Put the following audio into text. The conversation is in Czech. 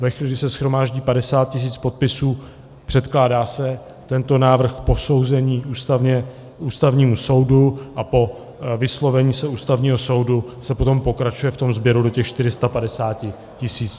Ve chvíli, kdy se shromáždí 50 tisíc podpisů, předkládá se tento návrh k posouzení Ústavnímu soudu a po vyslovení se Ústavního soudu se potom pokračuje v tom sběru do těch 450 tisíc.